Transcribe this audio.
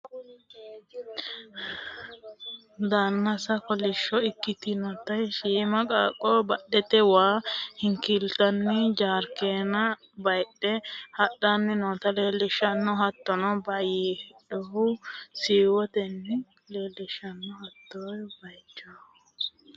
danase kolishsho ikkitinoti shiima qaaqqo badhete waa hinkiillanni jarkaana bayiidhe hadhanni noota leelishshanno. hattono bayiidhinohu siiwotenni ikkinota la'a dandiinanni yaate.